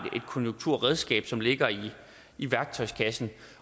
konjunkturredskab som ligger i værktøjskassen